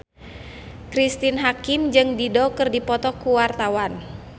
Cristine Hakim jeung Dido keur dipoto ku wartawan